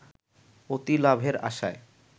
অতি লাভের আসায়